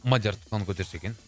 мадияр тұтқаны көтерсе екен